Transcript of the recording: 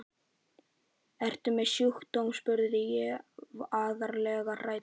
Ertu með einhvern sjúkdóm? spurði ég alvarlega hrædd.